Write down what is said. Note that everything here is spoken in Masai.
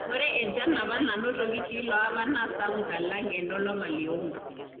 Ore enchan apa nanotoki tilo apa naa sapuk alang enolapa le ong`uan.